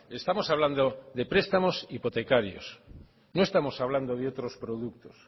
estamos hablando de prestamos hipotecarios no estamos hablando de otros productos